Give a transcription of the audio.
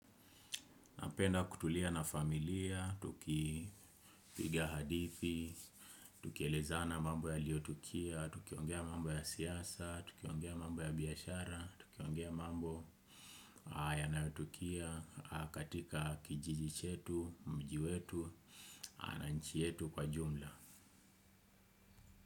Napenda kutulia na familia, tukipigia hadithi, tukieleza na mambo yaliotukia, tukiongea mambo ya siasa, tukiongea mambo ya biashara, tukiongea mambo yanayotukia katika kijiji chetu, mji wetu, na nchi yetu kwa jumla.